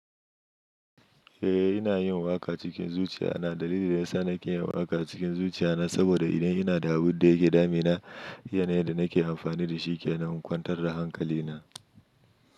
Eh ina yin waka cikin zuciya na dalili da ya sa nake yin waka cikin zuciya na saboda ina da abun da yake damina, yana yanda nake amfani da shi ke na kwantar da hankali na.